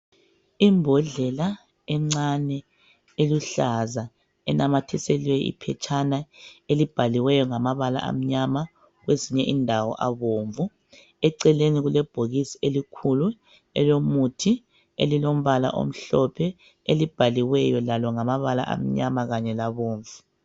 Imbodlela encane eluhlaza enamathiselwe iphetshana elibhaliweyo ngamabala amnyama kwezinye indawo abomvu. Eceleni kule bhokisi elikhulu elomuthi elilombala omhlophe elibhaliweyo lalo ngamabala amnyama kanye labomvu.